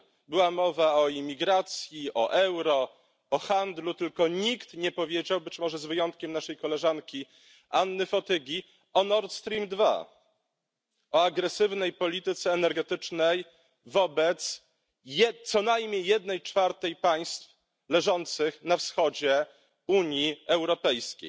Była mowa o imigracji, o euro, o handlu, tylko nikt nie powiedział być może z wyjątkiem naszej koleżanki Anny Fotygi o Nord Stream 2 i o agresywnej polityce energetycznej wobec co najmniej jednej czwartej państw leżących na wschodzie Unii Europejskiej.